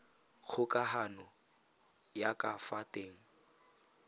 kgokagano ya ka fa teng